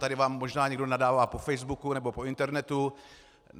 Tady vám možná někdo nadává po facebooku nebo po internetu.